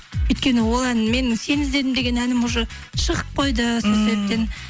өйткені ол ән мен сені іздедім деген әнім уже шығып қойды сол себептен